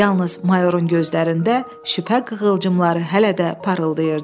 Yalnız mayorun gözlərində şübhə qığılcımları hələ də parıldayırdı.